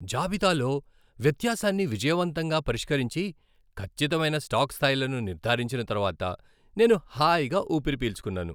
జాబితాలో వ్యత్యాసాన్ని విజయవంతంగా పరిష్కరించి, ఖచ్చితమైన స్టాక్ స్థాయిలను నిర్ధారించిన తర్వాత నేను హాయిగా ఊపిరి పీల్చుకున్నాను.